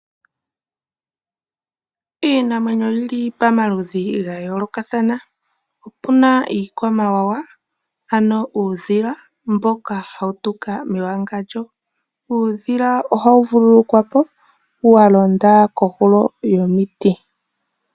Iinamwenyo oyi li pamaludhi ga yoolokathana. Opu na iikwamawawa, ano uudhila mboka hawu tuka mewangandjo. Uudhila oha vululukwa po, wa londa kohulo yomiti.